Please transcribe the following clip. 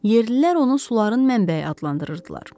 Yerlilər onu suların mənbəyi adlandırırdılar.